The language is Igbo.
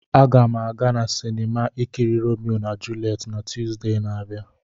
Agam aga na sinima ikiri Romeo na Juliet na Tuzdee na-abia.